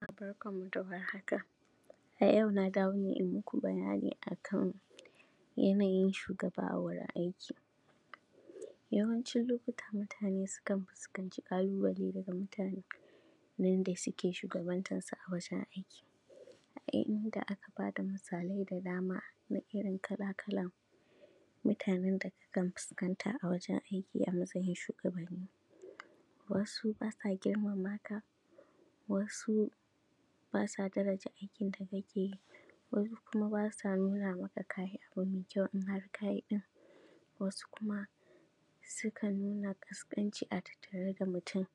A yau na dawo ne in yi maku bayani a kan yanayin shugaba a wuri n aiki, yawancin lokuta mutane sukan fuskanci ƙaluba le daban-daban na waɗanda suke shugabantansu a wajen aiki, a inda, aka bada misalai da dama na irin kala-kalan mutanen da akan fuskanta a wajen aiki a matsayin shugabanni,, wasu ba sa girmama ka, wasu ba sa daraja aikin da kake yi, wasu kuma ba sa yaba maka ka yi abu mai kyau amma ka yi ɗin,, wasu kuma s ukan nuna ƙasƙanci a tattare da mutum